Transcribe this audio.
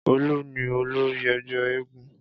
Olu ni olori egbe eégún